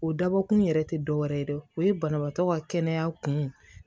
O dabɔkun yɛrɛ tɛ dɔ wɛrɛ ye dɛ o ye banabaatɔ ka kɛnɛya kun